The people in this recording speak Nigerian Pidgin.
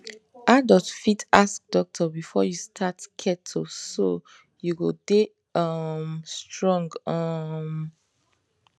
adult fit ask doctor before you start keto so you go dey um strong um